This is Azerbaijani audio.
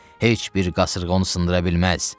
Heç bir qasırğa onu sındıra bilməz.